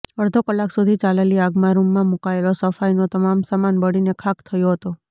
અડધો કલાક સુધી ચાલેલી આગમાં રૂમમાં મુકાયેલો સફાઈનો તમામ સામાન બળીને ખાખ થયો હતો